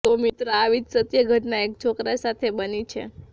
તો મિત્રો આવી જ સત્ય ઘટના એક છોકરા સાથે બની છે